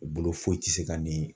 U bolo foyi ti se ka ni.